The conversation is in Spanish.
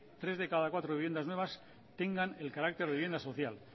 tres de cada cuatro viviendas nuevas tengan el carácter de vivienda social